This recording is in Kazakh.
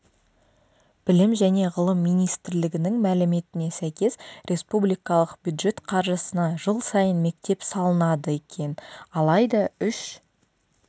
білім және ғылым министрлігінің мәліметіне сәйкес республикалық бюджет қаржысына жыл сайын мектеп салынады екен алайда үш